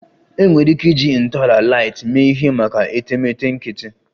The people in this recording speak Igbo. Enwere ike iji ntọala light mee ihe maka etemeete nkịtị